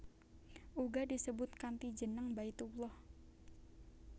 Uga disebut kanthi jeneng Baitullah